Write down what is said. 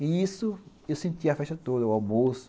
E isso, eu sentia a festa toda, o almoço.